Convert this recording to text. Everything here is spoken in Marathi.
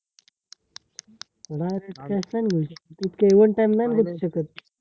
येवडा time नायना थांबू शकत